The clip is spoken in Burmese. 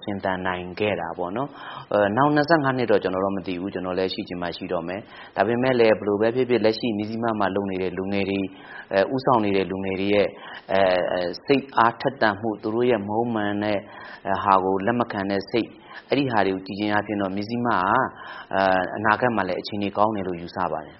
ရှင်သန်နိုင်ခဲ့တာပေါ့နော်။ နောင် ၂၅ နှစ်တော့ ကျွန်တော်တော့ မသိဘူး။ ကျွန်တော်လည်း ရှိချင်မှရှိတော့မယ်။ ဒါပေမယ့်လည်း ဘယ်လိုပဲဖြစ်ဖြစ် လက်ရှိ မဇ္ဈိမမှာလုပ်နေတဲ့ လူငယ်တွေရဲ့ စိတ်အားထက်သန်မှု၊ သူတို့ရဲ့မဟုတ်မမှန်တဲ့ဟာကို လက်မခံတဲ့စိတ်၊ အဲဒါတွေကို ကြည့်ခြင်းအားဖြင့်ဟာ အနာဂတ်မှာလည်း အခြေအနေကောင်းတယ်လို့ ယူဆပါတယ်